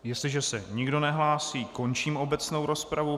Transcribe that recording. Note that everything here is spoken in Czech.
Jestliže se nikdo nehlásí, končím obecnou rozpravu.